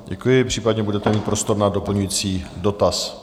Děkuji, případně budete mít prostor na doplňující dotaz.